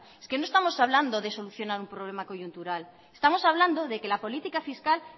es que no estamos hablando de solucionar un problema coyuntural estamos hablando de que la política fiscal